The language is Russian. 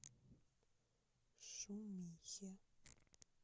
шумихе